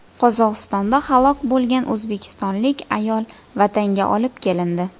Qozog‘istonda halok bo‘lgan o‘zbekistonlik ayol vatanga olib kelindi.